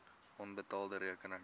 onbetaalde rekeninge